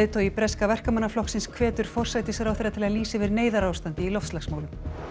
leiðtogi breska Verkamannaflokksins hvetur forsætisráðherra til að lýsa yfir neyðarástandi í loftslagsmálum